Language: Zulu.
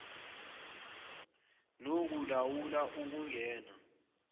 noku lawula okungena